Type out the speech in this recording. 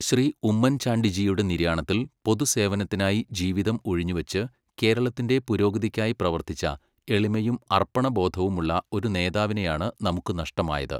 ശ്രീ ഉമ്മൻചാണ്ടി ജിയുടെ നിര്യാണത്തിൽ, പൊതുസേവനത്തിനായി ജീവിതം ഉഴിഞ്ഞുവെച്ച് കേരളത്തിന്റെ പുരോഗതിക്കായി പ്രവർത്തിച്ച എളിമയും അർപ്പണബോധവുമുള്ള ഒരു നേതാവിനെയാണ് നമുക്ക് നഷ്ടമായത്.